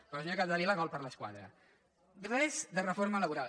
però senyora capdevila gol per l’escaire res de reforma laboral